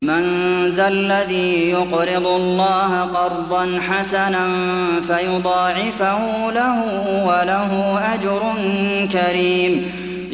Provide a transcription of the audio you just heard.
مَّن ذَا الَّذِي يُقْرِضُ اللَّهَ قَرْضًا حَسَنًا فَيُضَاعِفَهُ لَهُ وَلَهُ أَجْرٌ كَرِيمٌ